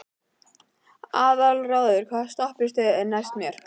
Aðalráður, hvaða stoppistöð er næst mér?